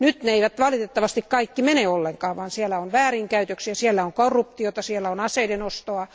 Nyt ne eivät valitettavasti kaikki mene ollenkaan perille, vaan siellä on väärinkäytöksiä, siellä on korruptiota, siellä on aseiden ostoa.